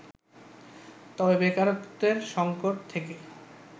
তবে বেকারত্বের সংকট থেকে